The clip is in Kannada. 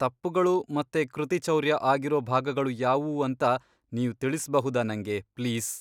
ತಪ್ಪುಗಳು ಮತ್ತೆ ಕೃತಿಚೌರ್ಯ ಆಗಿರೋ ಭಾಗಗಳು ಯಾವುವು ಅಂತ ನೀವ್ ತಿಳಿಸ್ಬಹುದಾ ನಂಗೆ, ಪ್ಲೀಸ್?